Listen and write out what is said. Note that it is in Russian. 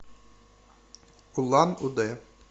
улан удэ